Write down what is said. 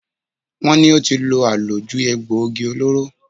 Wọ́n ní ó ti lo àlòjù egboògi olóró.